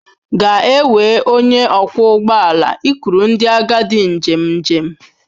Ga-ewe onye ọkwọ ụgbọ ala ikuru ndị agadi njem njem.